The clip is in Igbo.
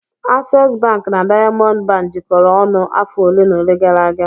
Access bank na Diamond bank jikọrọ ọnụ afọ ole na ole gara aga.